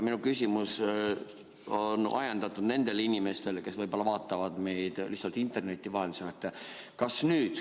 Minu küsimus on ajendatud sellest, et ma mõtlen nendele inimestele, kes vaatavad meid interneti vahendusel.